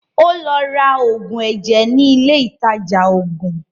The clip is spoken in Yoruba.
Ó lọ ra òògùn ẹ̀jẹ̀ ní ilé ìtajà òògùn.